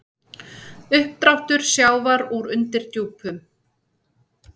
Uppdráttur sjávar úr undirdjúpum